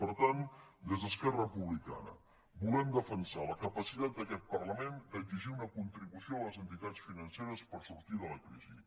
per tant des d’esquerra republicana volem defensar la capacitat d’aquest parlament d’exigir una contribució a les entitats financeres per sortir de la crisi